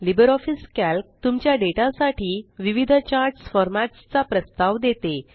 Libre office Calc तुमच्या data साठी विविध चार्ट्स फार्मेट्सचा प्रस्ताव देते